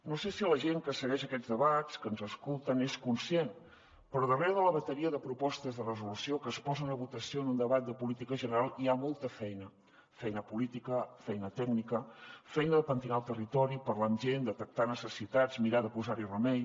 no sé si la gent que segueix aquests debats que ens escolten n’és conscient però darrere de la bateria de propostes de resolució que es posen a votació en un debat de política general hi ha molta feina feina política feina tècnica feina de pentinar el territori parlar amb gent detectar necessitats mirar de posar hi remei